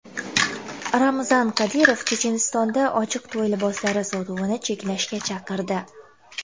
Ramzan Qodirov Chechenistonda ochiq to‘y liboslari sotuvini cheklashga chaqirdi.